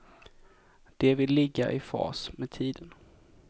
De vill ligga i fas med tiden.